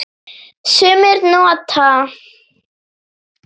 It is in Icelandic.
Sumir nota